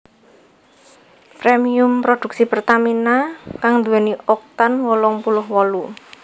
Premium produksi Pertamina kang nduwèni Oktan wolung puluh wolu